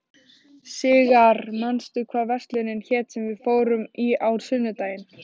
Sigarr, manstu hvað verslunin hét sem við fórum í á sunnudaginn?